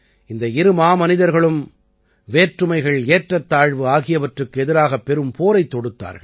இந்த இரு மாமனிதர்களும் வேற்றுமைகள் ஏற்றத்தாழ்வு ஆகியவற்றுக்கு எதிராகப் பெரும் போரைத் தொடுத்தார்கள்